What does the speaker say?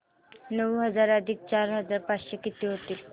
नऊ हजार अधिक चार हजार पाचशे किती होतील